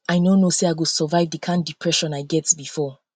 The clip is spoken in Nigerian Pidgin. i no no know say i go survive the kin depression i get before